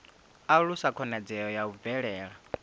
alusa khonadzeo ya u bvela